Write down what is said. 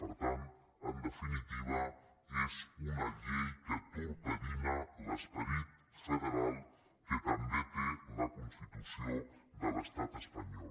per tant en definitiva és una llei que torpedina l’esperit federal que també té la constitució de l’estat espanyol